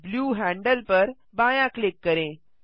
blue handle पर बायाँ click करें